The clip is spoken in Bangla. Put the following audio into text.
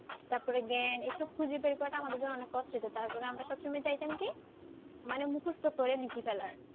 তারপর জ্ঞ্যান এসব খুজে বার করা টা আমাদের জন্য অনেক কষ্ট হইত টার ফলে আমরা সব সময় চাইতাম কি মানে মুখস্ত করে লিখে ফেলার।